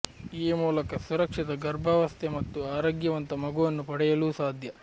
ಈ ಮೂಲಕ ಸುರಕ್ಷಿತ ಗರ್ಭಾವಸ್ಥೆ ಮತ್ತು ಆರೋಗ್ಯವಂತ ಮಗುವನ್ನು ಪಡೆಯಲೂ ಸಾಧ್ಯ